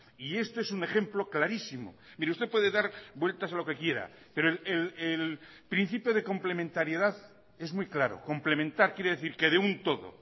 y esto es un ejemplo clarísimo mire usted puede dar vueltas a lo que quiera pero el principio de complementariedad es muy claro complementar quiere decir que de un todo